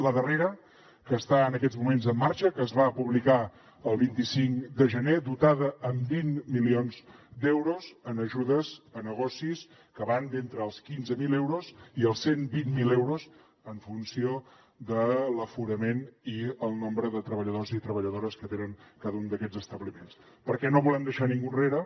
la darrera que està en aquests moments en marxa que es va publicar el vint cinc de gener dotada amb vint milions d’euros en ajudes a negocis que van d’entre els quinze mil euros i els cent i vint miler euros en funció de l’aforament i el nombre de treballadors i treballadores que tenen cada un d’aquests establiments perquè no volem deixar ningú enrere